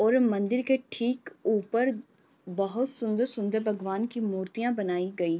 और मंदिर ठीक ऊपर बहुत सुन्दर-सुन्दर बगवान की मूर्तियाँ बनाई गई।